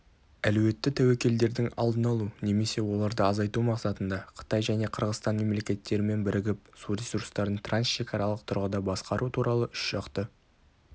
әлеуетті тәуекелдердің алдын алу немесе оларды азайту мақсатында қытай және қырғызстан мемлекеттерімен бірігіп су ресурстарын трансшекаралық тұрғыда басқару туралы үшжақты